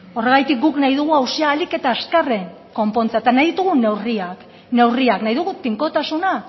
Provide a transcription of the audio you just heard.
horregatik guk nahi dugu auzia ahalik eta azkarren konpontzea eta nahi ditugu neurriak neurriak nahi dugu tinkotasuna